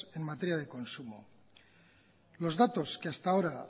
en materia de consumo los datos que hasta ahora